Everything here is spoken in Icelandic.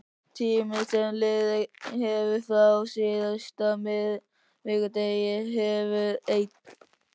Tíminn sem liðið hefur frá síðasta miðvikudegi hefur ein